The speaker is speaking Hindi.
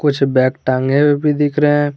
कुछ बैग टांगे हुए भी दिख रहे हैं।